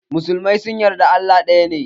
Musulmai sun yarda Allah ɗaya ne.